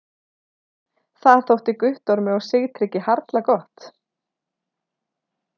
Það þótti Guttormi og Sigtryggi harla gott.